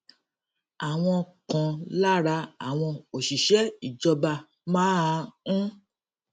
àwọn kan lára àwọn òṣìṣé ìjọba máa ń